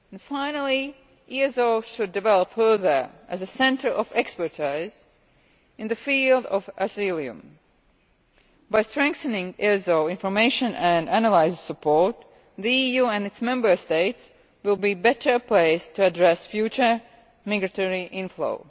Finally, EASO should develop further as a centre of expertise in the field of asylum. By strengthening EASO's information and analysis support, the EU and its Member States will be better placed to address future migratory inflow.